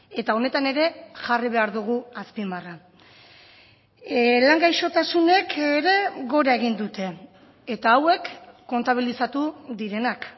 eta honetan ere jarri behar dugu azpimarra lan gaixotasunek ere gora egin dute eta hauek kontabilizatu direnak